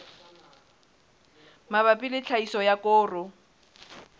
mabapi le tlhahiso ya koro